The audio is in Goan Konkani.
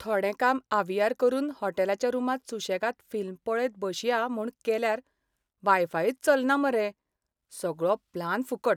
थोडें काम आवियार करून हॉटेलाच्या रुमांत सुशेगाद फिल्म पळयत बशया म्हूण केल्यार वायफायच चलना मरे. सगळो प्लान फुकट!